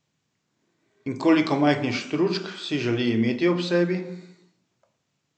In koliko majhnih štručk si želi imeti ob sebi?